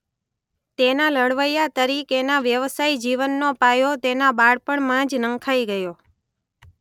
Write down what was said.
તેના લડવૈયા તરીકેના વ્યવસાયી જીવનનો પાયો તેના બાળપણમાં જ નંખાઈ ગયો.